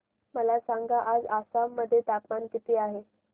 मला सांगा आज आसाम मध्ये तापमान किती आहे